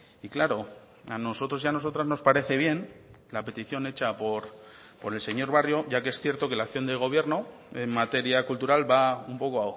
y claro a nosotros y a nosotras nos parece bien la petición hecha por el señor barrio ya que es cierto que la acción del gobierno en materia cultural va un poco